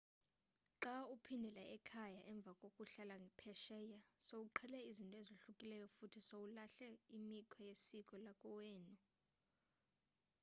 xa uphindela ekhaya emva kokuhlala phesheya sowuqhele izinto ezohlukileyo futhi sowulahle imikhwa yesiko lakowenu